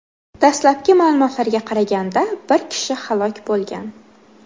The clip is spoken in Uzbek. Dastlabki ma’lumotlarga qaraganda, bir kishi halok bo‘lgan.